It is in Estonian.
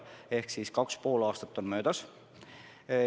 Ehk siis kaks ja pool aastat on möödas.